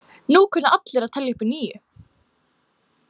Núna kunna allir að telja upp að níu.